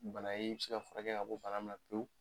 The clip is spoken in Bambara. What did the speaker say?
Bana ye in bi se ka furakɛ ka bɔ bana min na pewu